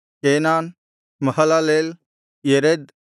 Kenan Mahalalel Jered